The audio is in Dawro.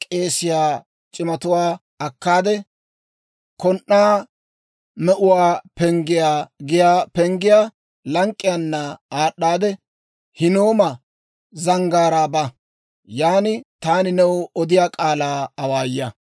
Kon"aa Me'uwaa Penggiyaa giyaa penggiyaa lank'k'iyaana aad'd'aade, Hinnooma Zanggaaraa ba; yaan taani new odiyaa k'aalaa awaaya.